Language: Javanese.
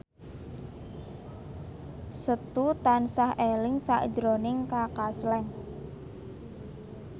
Setu tansah eling sakjroning Kaka Slank